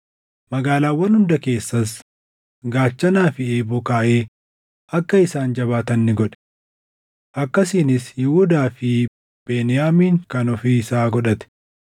Magaalaawwan hunda keessas gaachanaa fi eeboo kaaʼee akka isaan jabaatan ni godhe. Akkasiinis Yihuudaa fi Beniyaamin kan ofii isaa godhate.